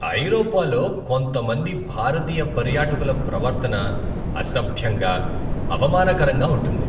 ఐరోపాలో కొంతమంది భారతీయ పర్యాటకుల ప్రవర్తన అసభ్యంగా, అవమానకరంగా ఉంటుంది.